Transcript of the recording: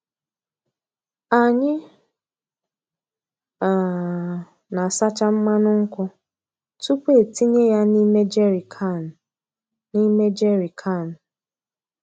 Anyị um na-asacha mmanụ nkwụ tupu etinye ya n'ime jerrycan. n'ime jerrycan.